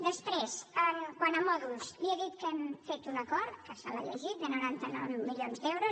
després quant a mòduls li he dit que hem fet un acord que se l’ha llegit de noranta nou milions d’euros